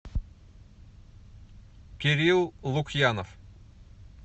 кирилл лукьянов